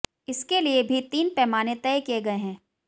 इसके लिए भी तीन पैमाने तय किए गए हैं